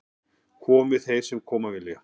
Komi þeir sem koma vilja